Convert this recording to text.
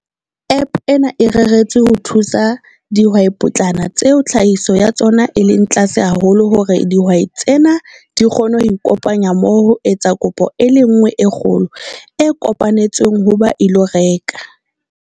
App ena e reretswe ho thusa dihwaipotlana tseo tlhahiso ya tsona e leng tlase haholo hore dihwai tsena di kgone ho ikopanya mmoho ho etsa kopo e le nngwe e kgolo, e kopanetsweng ho ba ilo reka.